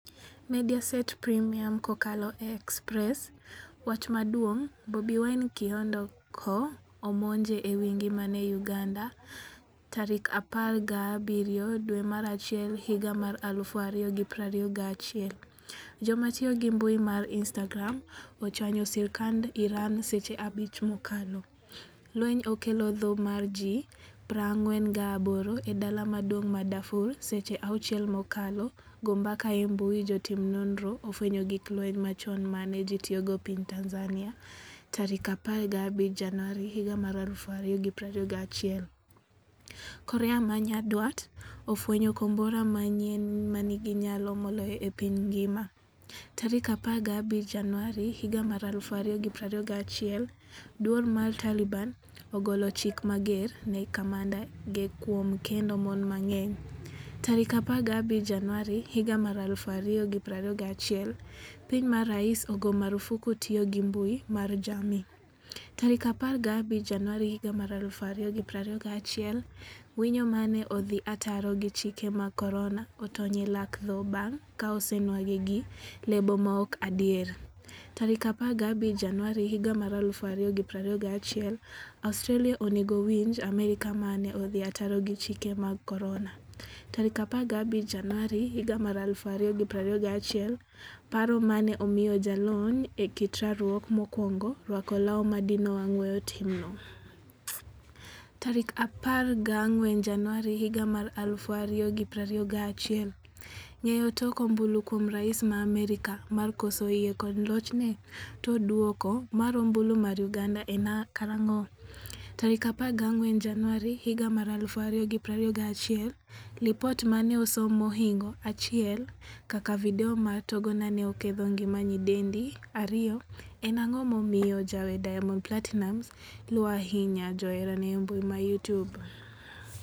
(Mediaset Premium, kokalo e Express) Wach maduong' Bobi Wine kihondko omonje ewi ngimane Uganda 17 dwe mar achiel 2021 . Jomatiyo gi mbui mar instagram ochwanyo sirkand Iran seche 5 mokalo. Lweny okelo tho mar ji 48 e dala maduong' mar Darfur seche 6 mokalo go mbaka e mbui jotim nonro ofwenyo gig lweny machon mane ji tiyogo piny Tanzania 15 Januari 2021. Korea Manyandwat ofwenyo kombora manyien manigi nyalo moloyo e piny ngima' 15 Januari 2021 Duol mar Taliban ogolo chik mager ne kamanda ge kuom kendo mon mang'eny 15 Januari 2021 Piny ma rais ogo marufuku tiyo gi mbui mar jamii 15 Januari 2021 Winyo mane odhi ataro gi chike mag korona otony e lak tho bang' ka osenwang'e gi lebo maok adier 15 Januari 2021 Australia onego winj Amerka mane odhi ataro gi chike mag korona' 15 Januari 2021 Paro mane omiyo jalony e kit rwakruok mokwongo rwako law madino wang' weyo timno tarik 14 januari 2021. Ng'eyo tok ombulu kuom rais ma Amerka mar koso yie kod lochne? To duoko mar ombulu mar uganda en karang'o?14 Januari 2021Lipot mane osom mohingo 1 kaka video mar tongona ne oketho ngima nyidendi 2. en ang'o momiyo jawer Diamond Platinumz luo ahinya joherane embui ma Youtube?